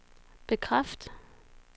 bekræft